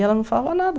E ela não falava nada.